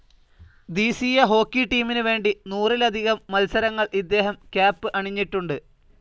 ധീസീയ hockey ടീമിന് വേണ്ടി നൂറിലധികം മത്സരങ്ങൾ ഇദ്ദേഹം ക്യാപ്‌ അണിഞ്ഞിട്ടുണ്ട്.